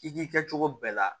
I k'i kɛcogo bɛɛ la